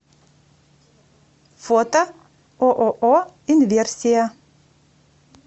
фото ооо инверсия